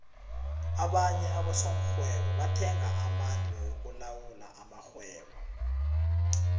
abanye abosokghwebo bathenga amandla wokulawula amakhgwebo